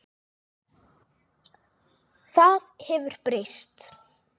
Það hefur breyst.